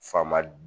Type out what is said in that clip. Faama